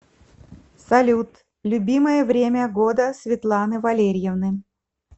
салют любимое время года светланы валерьевны